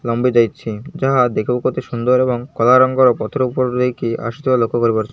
ଲମ୍ବି ଯାଇଛି ଯାହା ଦେଖିବାକୁ ଅତି ସୁନ୍ଦର ଏବଂ କଳା ରଙ୍ଗ ର ପଥର ଉପରୁ ନେଇ କି ଆସୁଥିବାର ଲକ୍ଷ୍ୟ କରିପାରୁ --